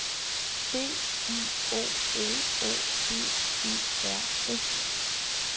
B I O L O G E R S